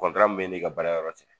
Kɔntara min b'e ne ka baarayɔrɔ cɛ